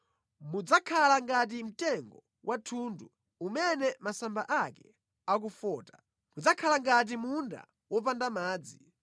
Mudzakhala ngati mtengo wa thundu umene masamba ake akufota, mudzakhala ngati munda wopanda madzi.